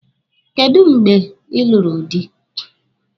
Kedụ mgbe ị lụrụ dị?